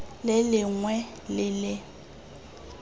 lengwe le lengwe le le